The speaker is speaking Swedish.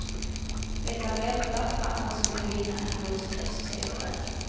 Det är väntat att han skulle vinna en jordskredsseger där.